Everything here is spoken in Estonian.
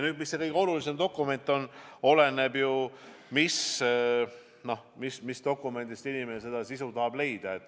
Mis aga kõige olulisem dokument on, see oleneb ju sellest, mis infot inimene tahab leida.